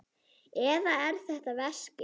Eða er þetta veski?